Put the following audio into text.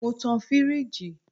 Mo tan firiji